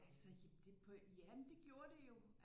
Altså det på jamen det gjorde det jo